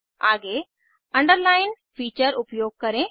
आगे underline feature उपयोग करें